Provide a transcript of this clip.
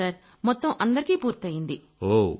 అవును సర్ మొత్తం అందరికీ పూర్తైపోయింది